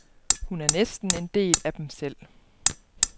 Hun er næsten en del af dem selv.